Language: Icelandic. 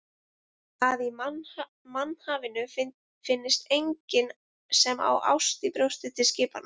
Að í mannhafinu finnist enginn sem á ást í brjósti til skiptanna.